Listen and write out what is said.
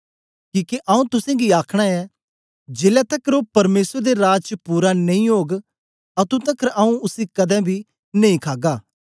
किके आऊँ तुसेंगी आखना ऐं जेलै तकर ओ परमेसर दे राज च पूरा नेई ओग अतुं तकर आऊँ उसी कदें बी नेई खागा